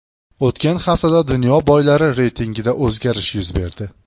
O‘tgan haftada dunyo boylari reytingida o‘zgarish yuz berdi.